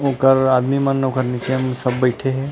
ओकर आदमी मन उकर निचे में सब बइठे हे